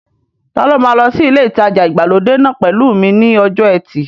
Ta ló máa lọ sí ilé ìtajà ìgbàlódé náà pẹ̀lú mi ní ọjọ́ ẹtì